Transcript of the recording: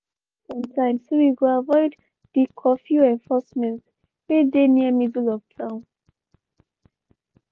we comot on time so we go avoid di curfew enforcement wey dey near middle of town.